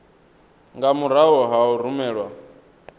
nga murahu ha u rumelwa